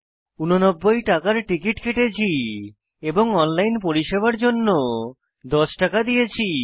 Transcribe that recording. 89 টাকার টিকিট কেটেছি এবং অনলাইন পরিষেবার জন্য 10 টাকা দিয়েছি